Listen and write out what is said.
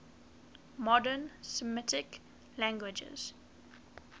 modern semitic languages